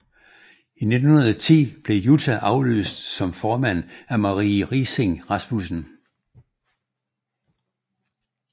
I 1910 blev Jutta afløst som formand af Marie Riising Rasmussen